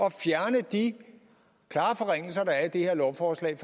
at fjerne de klare forringelser der er i det her lovforslag